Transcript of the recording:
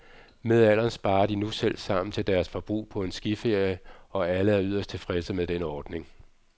Med alderen sparer de nu selv sammen til deres forbrug på en skiferie, og alle er yderst tilfredse med den ordning.